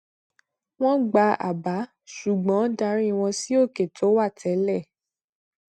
wọn gba àbá ṣùgbọn darí wọn sí òkè tó wà tẹlẹ